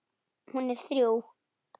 Hún er þrjú.